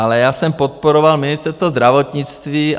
Ale já jsem podporoval Ministerstvo zdravotnictví.